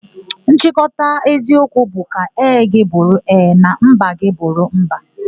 Nchịkọta eziokwu bụ 'ka ee gị bụrụ ee na mba gị bụrụ mba',